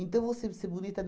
Então, vou sempre ser bonita?